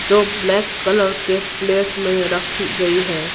जो black colour के plate में रखी गई है।